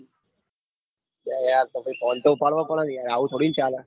અરે યાર પસ phone તો ઉપાડવો પડે ને આવું થોડું ચાલે?